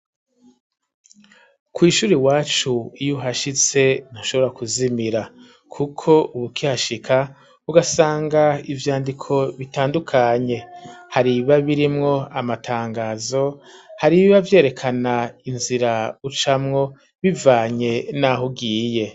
kw'ishuri iwacu, iyo uhashitse ntushobora kuzimira, kuko uba ukihashika ugasanga ivyandiko bitandukanye; hari ibiba birimwo amatangazo, hari ibiba vyerekana inzira ucamwo bivanye n'aho ugiye.